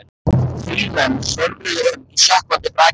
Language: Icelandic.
Þrír menn svömluðu um í sökkvandi brakinu.